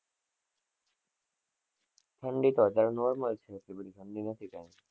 ઠંડી તો અત્યારે normal એટલી બધી ઠંડી નથી.